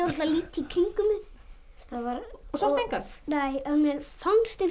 að líta í kringum mig sástu engan nei en mér fannst eins og